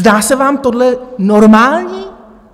Zdá se vám tohle normální?